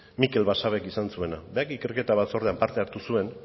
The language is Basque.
mikel basabek izan zuena berak ikerketa batzordean parte hartu zuen